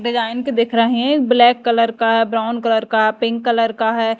Design के देख रहे ब्लैक कलर का ब्राऊन कलर का पिंक कलर का है।